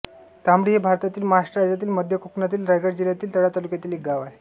तांबडी हे भारतातील महाराष्ट्र राज्यातील मध्य कोकणातील रायगड जिल्ह्यातील तळा तालुक्यातील एक गाव आहे